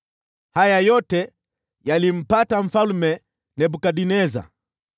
Haya yote yalimpata Mfalme Nebukadneza.